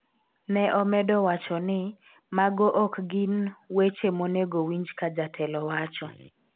ne omedo wacho ni '' mago ok gin weche monego winj ka jatelo wacho''